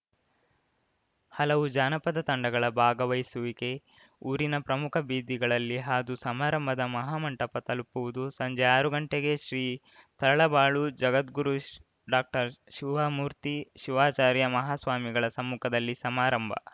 ಹಲವು ಜಾನಪದ ತಂಡಗಳ ಭಾಗವಹಿಸುವಿಕೆ ಊರಿನ ಪ್ರಮುಖ ಬೀದಿಗಳಲ್ಲಿ ಹಾದು ಸಮಾರಂಭದ ಮಹಾಮಂಟಪ ತಲುಪುವುದು ಸಂಜೆ ಆರು ಗಂಟೆಗೆ ಶ್ರೀ ತರಳಬಾಳು ಜಗದ್ಗುರು ಶ್ ಡಾಕ್ಟರ್ ಶಿವಮೂರ್ತಿ ಶಿವಾಚಾರ್ಯ ಮಹಾಸ್ವಾಮಿಗಳ ಸಮ್ಮುಖದಲ್ಲಿ ಸಮಾರಂಭ